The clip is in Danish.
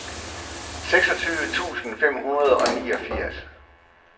seksogtyve tusind fem hundrede og niogfirs